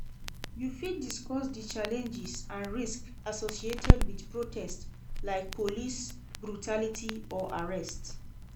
You fit discuss di challenges and risks associated with protest, like police brutality or arrest.